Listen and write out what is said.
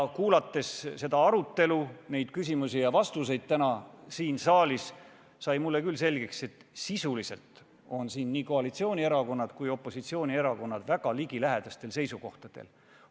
Kuulates täna siin saalis seda arutelu, neid küsimusi ja vastuseid, sai mulle selgeks, et selles asjas on nii koalitsiooni- kui ka opositsioonierakonnad sisuliselt väga ligilähedastel seisukohtadel.